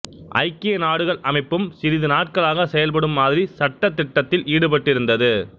ஐக்கிய நாடுகள் அமைப்பும் சிறிது நாட்களாக செயல்படும் மாதிரி சட்ட திட்டத்தில் ஈடுபட்டிருந்தது